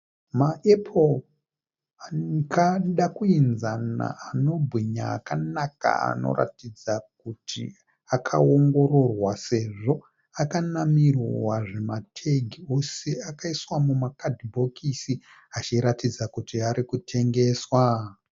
Maepuro akada kuinzama anobwinya akanaka anoratidza kuti akaongororwa sezvo akanamirwa zvimategi ose akaiswa mumakadhibhokisi achiratidza kuti arikutengeswa.